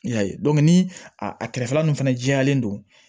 I y'a ye ni a kɛrɛfɛla nun fɛnɛ jɛyalen don